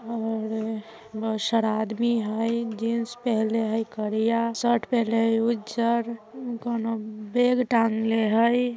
और बहुत सारा आदमी हय जिन्स पेहनले हय करिया शर्ट पेहनले है उज्जर कोनो बैग टाँगले हय।